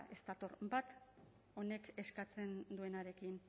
ez dator bat honek eskatzen duenarekin